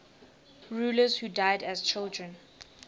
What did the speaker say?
rulers who died as children